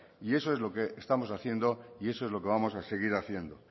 y eso es lo que estamos haciendo y eso es lo que vamos a seguir haciendo